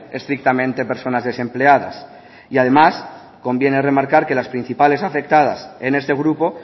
estrictamente personas desempleadas y además conviene remarcar que las principales afectas en este grupo